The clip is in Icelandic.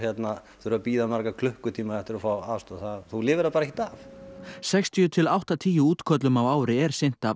þurfa að bíða í marga klukkutíma eftir aðstoð þú lifir það bara ekkert af sextíu til áttatíu útköllum á ári er sinnt af